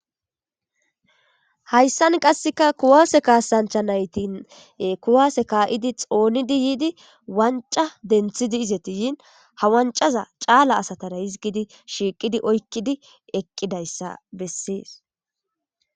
Hayssan qaseka kuwase kassancha nayti kuwase ka'idi xonnidi yiddi wancca izeti denththidi yinni ha wancca Calla asatara hizzgidi shiqqid oykkidi eqqidayisa besses.